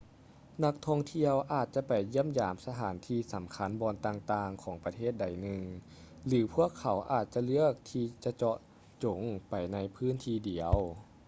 ນັກທ່ອງທ່ຽວອາດຈະໄປຢ້ຽມຢາມສະຖານທີ່ສຳຄັນບ່ອນຕ່າງໆຂອງປະເທດໃດໜຶ່ງ ຫຼື ພວກເຂົາອາດຈະເລືອກທີ່ຈະເຈາະຈົງໄປໃນພື້ນທີ່ດຽວ